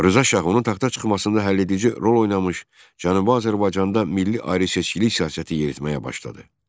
Rza Şah onun taxta çıxmasında həlledici rol oynamış Cənubi Azərbaycanda milli ayrıseçkilik siyasəti yeritməyə başladı.